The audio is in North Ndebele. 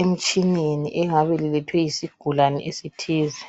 emtshineni elingabe lilethwe yisigulane esithize.